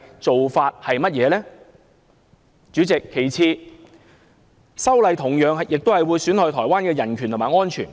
主席，其次，修例也會損害台灣的人權及安全。